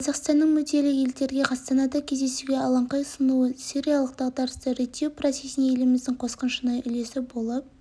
қазақстанның мүдделі елдерге астанада кездесуге алаңқай ұсынуы сириялық дағдарысты реттеу процесіне еліміздің қосқан шынайы үлесі болып